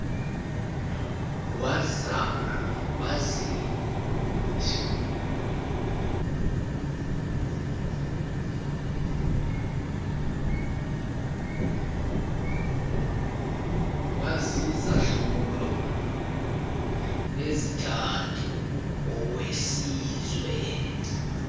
wazizahlulo ezithathu owesizwe